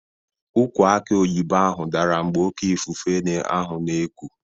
Ukwụ aki oyibo ahụ dara mgbe oké ifufe ahụ na-eku.